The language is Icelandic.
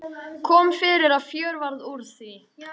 Kom fyrir að fjör varð úr því.